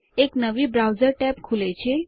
એક નવી browser tab ખુલે છે